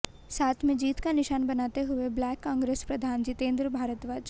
साथ में जीत का निशान बनाते हुए ब्लाक कांग्रेस प्रधान जितेंद्र भारद्वाज